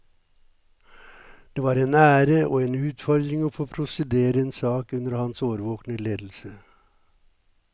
Det var en ære og en utfordring å få prosedere en sak under hans årvåkne ledelse.